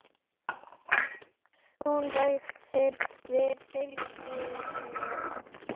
Hún bætir við: Fylgið mér